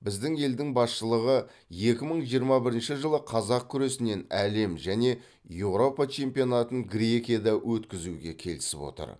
біздің елдің басшылығы екі мың жиырма бірінші жылы қазақ күресінен әлем және еуропа чемпионатын грекияда өткізуге келісіп отыр